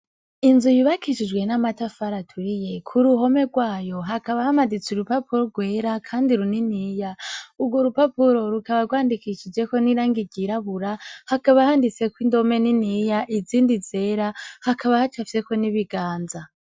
Inzu yubakishijwe n'amatafari aturiye ku ruhome rwayo hakaba hamaditse urupapuro rwera kandi runiniya. Urwo rupapuro rukaba rwandikishijeko n'irangi ryirabura hakaba handitseko indome niniya izindi zera hakaba hacafyeko n'ibiganza.